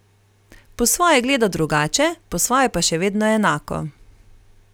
Po svoje gleda drugače, po svoje pa še vedno enako.